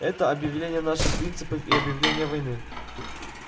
это объявление наших принципов и объявление войны